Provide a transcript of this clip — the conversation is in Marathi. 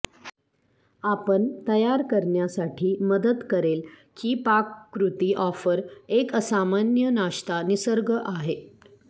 आपण तयार करण्यासाठी मदत करेल की पाककृती ऑफर एक असामान्य नाश्ता निसर्ग आहे